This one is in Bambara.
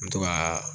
N bɛ to kaa